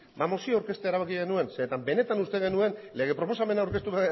ba mozioa aurkeztea erabaki genuen zeren eta benetan uste genuen lege proposamena aurkeztuko